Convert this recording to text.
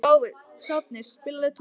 Sváfnir, spilaðu tónlist.